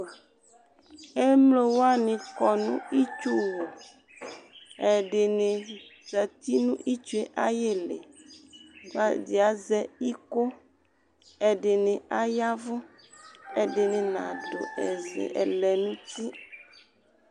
Emlo wani kɔ nʋ itsu wu, ɛdini zati nʋ itsu yɛ ayili, ɛdi azɛ iko, ɛdini aya vʋ, edini nadʋ ɛzɛ, ɛlɛn'uti